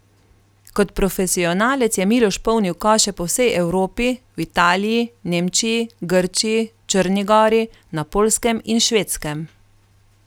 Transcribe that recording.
Kot profesionalec je Miloš polnil koše po vsej Evropi, v Italiji, Nemčiji, Grčiji, Črni gori, na Poljskem in Švedskem.